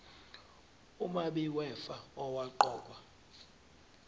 umabi wefa owaqokwa